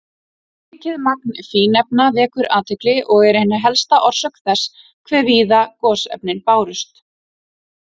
Mikið magn fínefna vekur athygli og er ein helsta orsök þess hve víða gosefnin bárust.